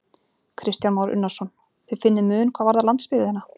Kristján Már Unnarsson: Þið finnið mun hvað varðar landsbyggðina?